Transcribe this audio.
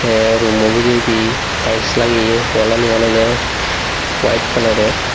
a rummo bederay tailes lageya wall lani oloda white kalalor.